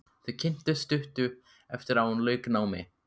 Þau kynntust stuttu eftir að hún lauk námi.